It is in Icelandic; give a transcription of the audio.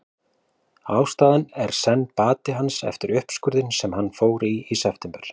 Ástæðan er seinn bati hans eftir uppskurðinn sem hann fór í í september.